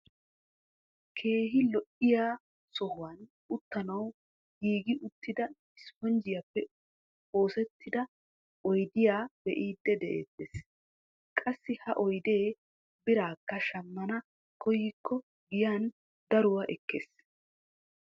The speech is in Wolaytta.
Keehi lo"oiyaa sohuwaan uttanawu giigi uttida isponjjiyaappe oosettida oydiyaa be'idi de'ettees. qassi ha oydee biraakka shammana koyikko giyaan daruwaa ekkees.